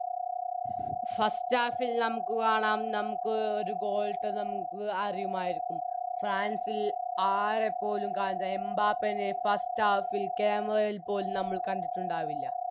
First half ൽ നമുക്ക് കാണാം നമുക്ക് ഒര് Goal ഇട്ട് നമുക്ക് അറിയുമായിരിക്കും ഫ്രാൻസിൽ ആരെപ്പോലും കാന്താൻ എംബപ്പേനെ First half ൽ Camera യിൽ പോലും നമ്മൾ കണ്ടിട്ടുണ്ടാവില്ല